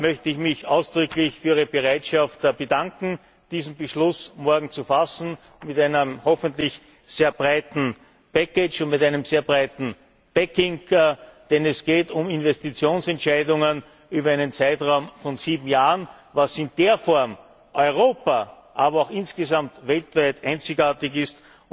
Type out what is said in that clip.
Daher möchte ich mich ausdrücklich für Ihre Bereitschaft bedanken, diesen Beschluss morgen zu fassen, mit einem hoffentlich sehr breitem package und mit einem sehr breitem backing denn es geht um Investitionsentscheidungen über einen Zeitraum von sieben Jahren, was in dieser Form in Europa, aber auch insgesamt weltweit einzigartig ist!